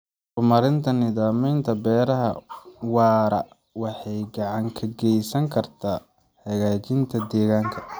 Horumarinta nidaamyada beeraha waara waxay gacan ka geysan kartaa hagaajinta deegaanka.